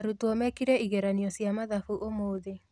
Arutwo mekire igeranio cia mathabu ũmũthĩ.